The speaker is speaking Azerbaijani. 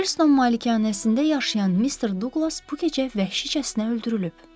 Birton malikanəsində yaşayan Mister Duqlas bu gecə vəhşicəsinə öldürülüb.